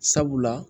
Sabula